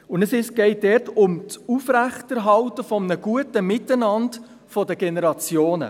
Dabei geht es um das Aufrechterhalten eines guten Miteinanders der Generationen.